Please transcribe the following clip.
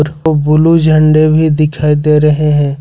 Blue झंडे भी दिखाई दे रहे हैं।